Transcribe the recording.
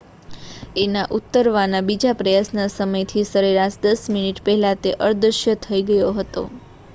એના ઉતારવાના બીજા પ્રયાસના સમયથી સરેરાશ દસ મિનિટ પહેલાં તે અદૃશ્ય થઈ ગયો હતો